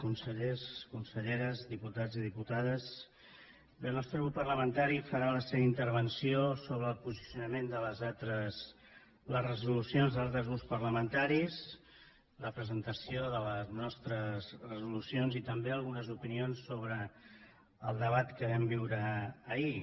consellers conselleres diputats i diputades bé el nostre grup parlamentari farà la seva intervenció sobre el posicionament de les resolucions dels altres grups parlamentaris la presentació de les nostres resolucions i també algunes opinions sobre el debat que vam viure ahir